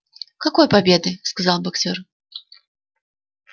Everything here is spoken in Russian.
какой победы сказал боксёр